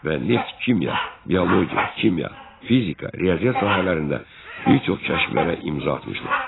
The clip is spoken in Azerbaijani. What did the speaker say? Və neft-kimya, biologiya, kimya, fizika, riyaziyyat sahələrində bir çox kəşflərə imza atmışlar.